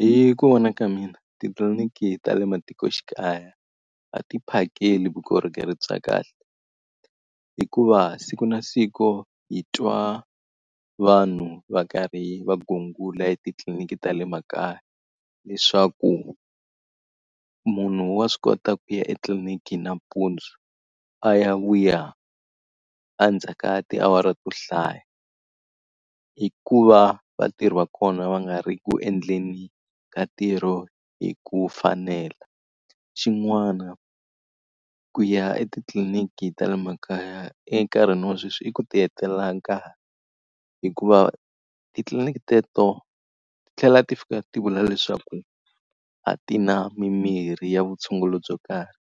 Hi ku vona ka mina titliliniki ta le matikoxikaya va ti phakeli vukorhokeri bya kahle, hikuva siku na siku hi twa vanhu va karhi va gungula etitliliniki ta le makaya. Leswaku munhu wa swi kota ku ya etliliniki nampundzu a ya wu ya endzhaku ka tiawara to hlaya, hikuva vatirhi va kona va nga ri ku endleni ka ntirho hi ku fanela. Xin'wana ku ya etitliliniki ta le makaya enkarhini wa sweswi i ku ti hetelela nkarhi, hikuva titliliniki teto ti tlhela ti fika ti vula leswaku a ti na mimirhi ya vutshunguri byo karhi,